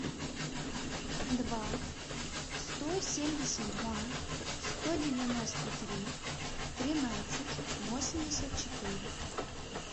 два сто семьдесят два сто девяносто три тринадцать восемьдесят четыре